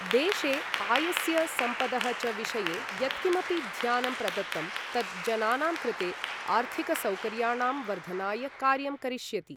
देशे आयस्य सम्पदः च विषये यत्किमपि ध्यानं प्रदत्तं तत् जनानां कृते आर्थिकसौकर्याणां वर्धनाय कार्यं करिष्यति।